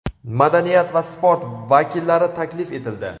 madaniyat va sport vakillari taklif etildi.